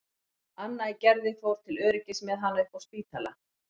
Anna í Gerði fór til öryggis með hana upp á Spítala.